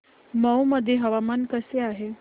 मौ मध्ये हवामान कसे आहे